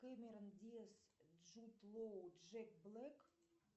кэмерон диас джуд лоу джек блек